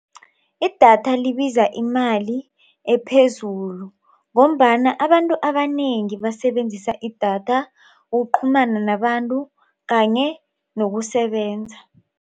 Idatha libiza imali ephezulu ngombana abantu abanengi basebenzisa idatha ukuqhumana nabantu kanye nokusebenza.